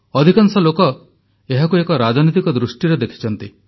ଅଧିକାଂଶ ଲୋକ ଏହାକୁ ଏକ ରାଜନୈତିକ ଦୃଷ୍ଟିରେ ଦେଖିଛନ୍ତି